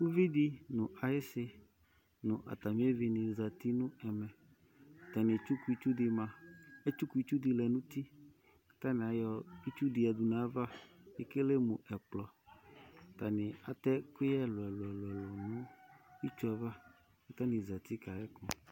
Uvidi nu ayisi nu atami evini zati nɛmɛ atani etsuku itsu di ma etsuku itsu di lɛ nu uti katani ayɔ itsu di yadu nava ekele mu ɛkplɔ atani atɛ ɛkuyɛ ɛlu ɛlu nu itsu ava katani zati kayɛ ku